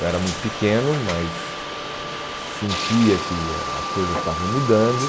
Eu era muito pequeno, mas sentia que as coisas estavam mudando.